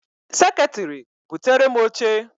Seketiri! buterem oche!